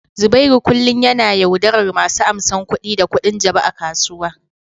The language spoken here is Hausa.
Zubairu kullum yana yaudarar masu amsan kuɗi da kuɗin jabu a kasuwa.